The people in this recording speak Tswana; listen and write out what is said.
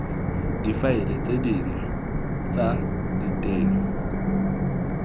difaele tse dinnye tsa diteng